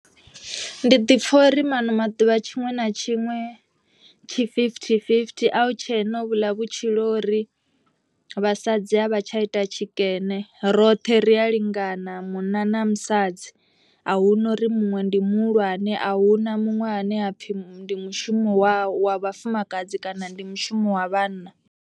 Ndi ḓipfha uri maṅwe maḓuvha tshiṅwe na tshiṅwe tshi fifty fifty. A hu tshena ho vhuḽa vhutshilo uri vhasadzi a vha tsha ita tshikene roṱhe roṱhe ri a lingana munna na musadzi. Ahuna uri muṅwe ndi muhulwane ahuna muṅwe ane apfhi ndi mushumo wa wa vhafumakadzi kana ndi mushumo wa vhanna.